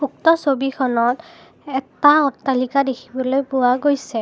উক্ত ছবিখনত এটা অট্টালিকা দেখিবলৈ পোৱা গৈছে।